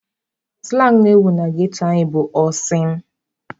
Sụlang na-ewu na ghetto anyị bụ "ọ sị m".